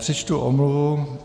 Přečtu omluvu.